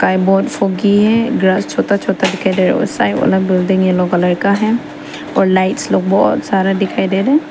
time बहोत फोकी है घर छोटा छोटा घर है और साइड वाला बिल्डिंग येलो कलर का है और लाइट्स लोग बहोत सारा दिखाई दे रहे--